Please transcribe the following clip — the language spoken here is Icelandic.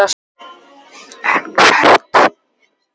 En hvert?